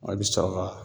A bɛ sɔrɔ ka